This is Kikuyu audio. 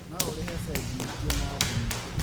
No ũrĩhe bengi ĩngĩ na thimũ